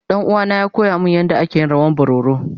Danuwa na ya koya min yanda ake yin rawan bororo.